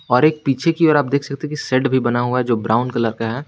और एक पीछे की ओर आप देख सकते कि शेड भी बना हुआ जो ब्राउन कलर का है।